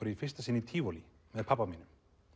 í fyrsta sinn í tívolí með pabba mínum